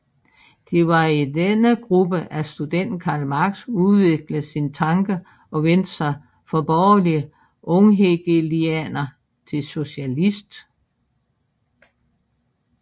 Det var i denne gruppe at studenten Karl Marx udviklede sine tanker og vendte sig fra borgerlig unghegelianer til socialist